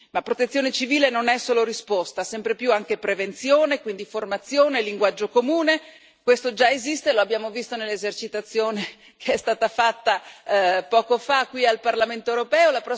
La Protezione civile non è solo risposta, sempre più anche prevenzione, quindi formazione, linguaggio comune, questo già esiste e lo abbiamo visto nell'esercitazione che è stata fatta, poco fa, qui al Parlamento europeo.